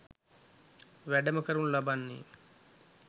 වැඩම කරනු ලබන්නේ